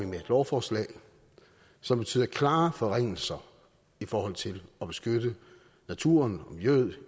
med et lovforslag som betyder klare forringelser i forhold til at beskytte naturen og miljøet